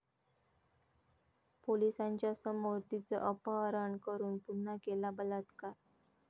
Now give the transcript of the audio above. पोलिसांच्या समोर 'ती'चं अपहरण करून पुन्हा केला बलात्कार